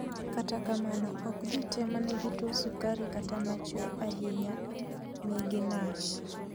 Kata kamano ok ji te manigi tuo sukari kata machwe ahinya manigi NASH